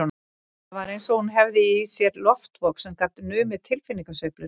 Það var eins og hún hefði í sér loftvog sem gat numið tilfinningasveiflur